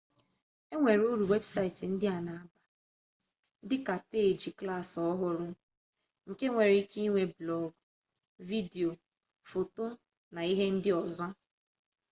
enwere uru webụsaịtị ndị a na-aba dịka peeji klaasị ọhụrụ nke nwere ike ịnwe blọg vidio foto na ihe ndị ọzọ